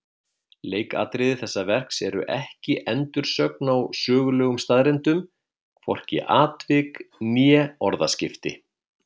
Leikatriði þessa verks eru ekki endursögn á sögulegum staðreyndum, hvorki atvik né orðaskipti.